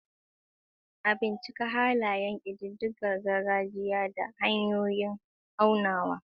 A bincika halayen ƙidayar gargajiya da hanyoyin aunawa.